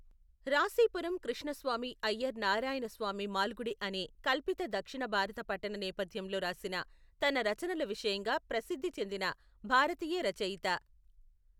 రాశిపురం కృష్ణస్వామి అయ్యర్ నారాయణస్వామి మాల్గుడి అనే కల్పిత దక్షిణ భారత పట్టణ నేపథ్యంలో రాసిన తన రచనల విషయంగా ప్రసిద్ధి చెందిన భారతీయ రచయిత.